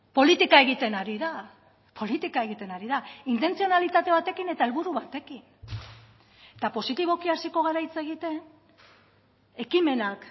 politika egiten ari da politika egiten ari da intentzionalitate batekin eta helburu batekin eta positiboki hasiko gara hitz egiten ekimenak